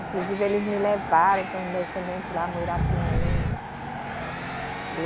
Inclusive, eles me levaram com os descendentes lá Muirapinima.